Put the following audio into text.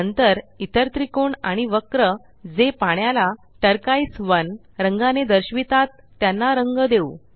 नंतर इतर त्रिकोण आणि वक्र जे पाण्याला टर्कोइज 1 रंगाने दर्शवितात त्यांना रंग देऊ